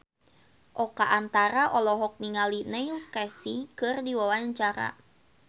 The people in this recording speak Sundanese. Oka Antara olohok ningali Neil Casey keur diwawancara